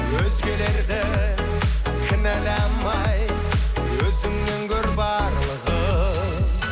өзгелерді кінәламай өзіңнен көр барлығын